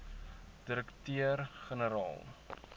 direkteur gene raal